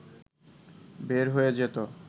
বের হয়ে যেতো